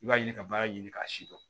I b'a ɲini ka baara ɲini k'a si dɔn